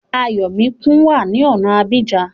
Ayọ̀míkún wá ní ọ̀na Abidjan